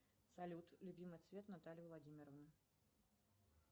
салют любимый цвет натальи владимировны